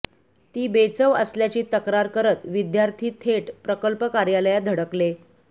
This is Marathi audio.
ती बेचव असल्याची तक्रार करत विद्यार्थी थेट प्रकल्प कार्यालयात धडकले